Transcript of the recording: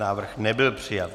Návrh nebyl přijat.